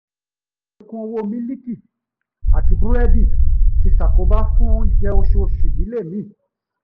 àlékún owó mílíìkì àti búrẹ́dì tí ṣàkóbá fún oúnjẹ oṣooṣù ìdílé mí